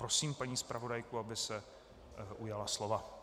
Prosím paní zpravodajku, aby se ujala slova.